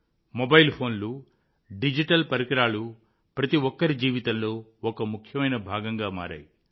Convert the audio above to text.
mobile ఫోన్లు digital పరికరాలు ప్రతి ఒక్కరి జీవితంలో ఒక ముఖ్యమైన భాగంగా మారాయి